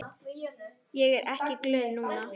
Ég er ekkert glöð núna.